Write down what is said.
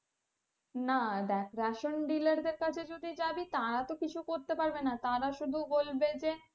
না দেখ ration dealer দের কাছে যদি যাবি তারা তো কিছু করতে পারবে না তারা শুধু বলবে যে,